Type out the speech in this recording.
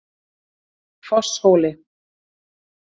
Fosshóli